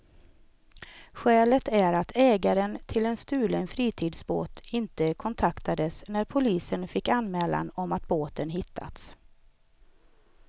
Skälet är att ägaren till en stulen fritidsbåt inte kontaktades när polisen fick anmälan om att båten hittats.